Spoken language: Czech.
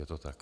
Je to tak?